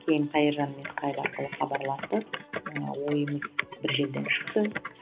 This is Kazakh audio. кейін қайыржанмен скайп арқылы хабарластық ыыы ойымыз бір жерден шықты